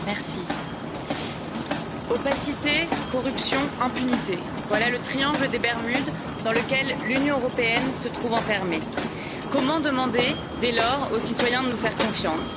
Monsieur le Président, opacité, corruption, impunité voilà le triangle des Bermudes dans lequel l'Union européenne se trouve enfermée. Comment demander, dès lors, aux citoyens de nous faire confiance?